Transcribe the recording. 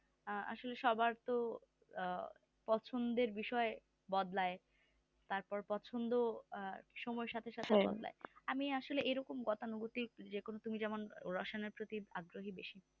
আহ আসলে সবার তো আহ পছন্দের বিষয় বদলায় তারপর পছন্দ সময়ের সাথে সাথে বদলায় আমি আসলে এরকম গতানুগতিক যেরকম তুমি যেমন রসায়নের প্রতি অগগ্রহি বেশি